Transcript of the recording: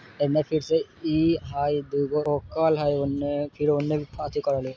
एन्ने फिर से इ हई दुगो कल हई ओन्ने फिर ओन्ने पांचगो कल हई।